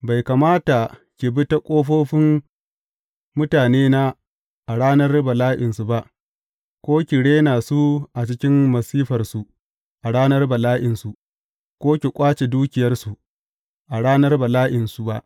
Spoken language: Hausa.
Bai kamata ki bi ta ƙofofin mutanena a ranar bala’insu ba, ko ki rena su a cikin masifarsu a ranar bala’insu, ko ki ƙwace dukiyarsu a ranar bala’insu ba.